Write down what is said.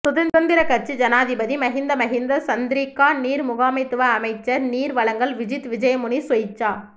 சுதந்திர கட்சி ஜனாதிபதி மஹிந்த மஹிந்த சந்திரிகா நீர் முகாமைத்துவ அமைச்சர் நீர் வழங்கல் விஜித் விஜயமுனி சொய்சா